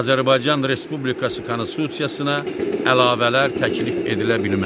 Azərbaycan Respublikası konstitusiyasına əlavələr təklif edilə bilməz.